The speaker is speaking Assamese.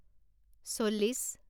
চল্লিছ